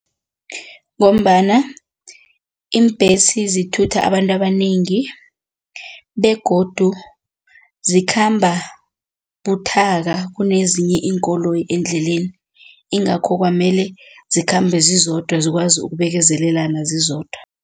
Ngombana iimbhesi zithutha abantu abanengi begodu zikhamba buthaka kunezinye iinkoloyi endleleni ingakho kwamele zikhambe zizodwa zikwazi ukubekezelelana zizodwa.